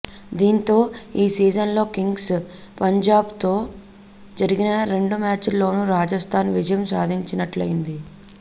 దాంతో ఈ సీజన్లో కింగ్స్ పంజాబ్తో జరిగిన రెండు మ్యాచ్ల్లోనూ రాజస్తాన్ విజయం సాధించినట్లయ్యింది